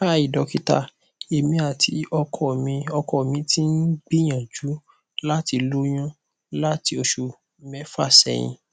hi dokita emi ati ọkọ mi ọkọ mi ti n gbiyanju lati loyun lati oṣu mẹfa sẹhin